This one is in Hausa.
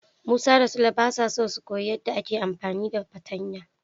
Musa da Sule basa so su koyi yadda ake amfani da fartanya.